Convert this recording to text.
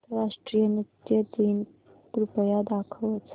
आंतरराष्ट्रीय नृत्य दिन कृपया दाखवच